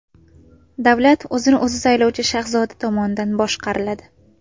Davlat o‘zini o‘zi saylovchi shahzoda tomonidan boshqariladi.